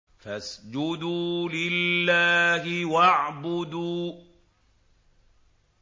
فَاسْجُدُوا لِلَّهِ وَاعْبُدُوا ۩